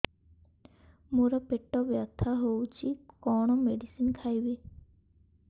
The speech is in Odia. ମୋର ପେଟ ବ୍ୟଥା ହଉଚି କଣ ମେଡିସିନ ଖାଇବି